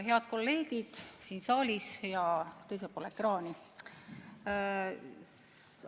Head kolleegid siin saalis ja teisel pool ekraani!